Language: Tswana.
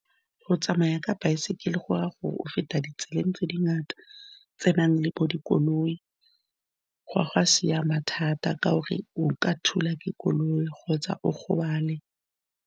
Go tsamaya ka baesekele, go raya gore o feta ditseleng tse dingata, tsenang le bo dikoloi, ga go a siama thata ka gore o ka thulwa ke koloi kgotsa o gobale.